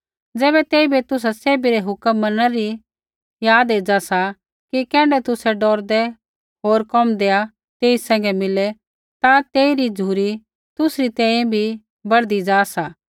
ज़ैबै तेइबै तुसा सैभी रै हुक्म मनणै री याद एज़ा सा कि कैण्ढै तुसै डौरदै होर कोमदैआ तेई सैंघै मिले ता तेइरी झ़ुरी तुसरी तैंईंयैं बी बढ़दी जा सा